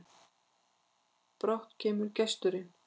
Brátt kemur gesturinn,